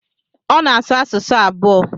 Ọ na-asụ asụsụ abụọ.